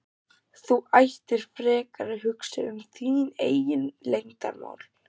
Þú ættir frekar að hugsa um þín eigin leyndarmál!